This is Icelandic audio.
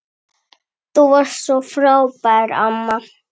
Þú varst svo frábær amma.